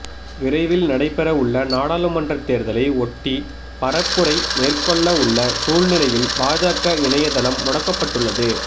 விரைவில் நடைபெற உள்ள நாடாளுமன்றத் தேர்தலை ஒட்டி பரப்புரை மேற்கொள்ள உள்ள சூழ்நிலையில் பாஜக இணையதளம் முடக்கப்பட்டுள்ளது